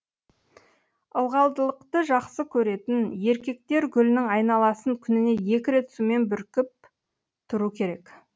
ылғалдылықты жақсы көретін еркектер гүлінің айналасын күніне екі рет сумен бүркіп тұру керек